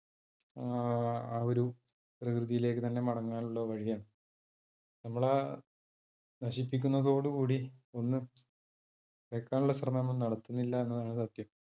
ആഹ് ആ ഒരു പ്രകൃതിയിലേക്ക് തന്നെ മടങ്ങാനുള്ള വഴിയാണ് നമ്മളാ നശിപ്പിക്കുന്നതോടുകൂടി ഒന്ന് വെക്കാനുള്ള ശ്രമം നമ്മൾ നടത്തുന്നില്ല എന്നതാണ് സത്യം